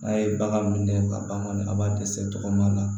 N'a ye bagan min minɛ ka ban kɔni a b'a dɛsɛ tɔgɔ la